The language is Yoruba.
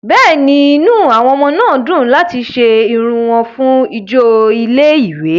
Bẹ́ẹ̀ni, inú àwọn ọmọ náà dùn láti ṣe irun wọn fún ijó ilé-ìwé.